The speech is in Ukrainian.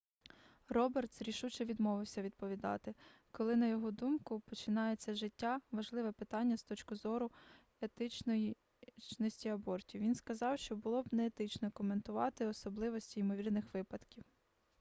робертс рішуче відмовився відповідати коли на його думку починається життя важливе питання з точки зору етичності абортів він сказав що було б неетично коментувати особливості ймовірних випадків